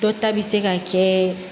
Dɔ ta bi se ka kɛ